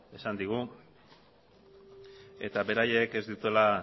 esan digu eta beraiek ez dituela